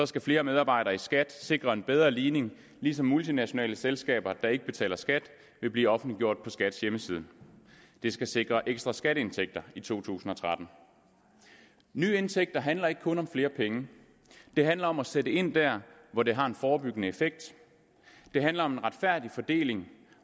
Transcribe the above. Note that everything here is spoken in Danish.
skal flere medarbejdere i skat sikre en bedre ligning ligesom multinationale selskaber der ikke betaler skat vil blive offentliggjort på skats hjemmeside det skal sikre ekstra skatteindtægter i to tusind og tretten nye indtægter handler ikke kun om flere penge det handler om at sætte ind der hvor det har en forebyggende effekt det handler om en retfærdig fordeling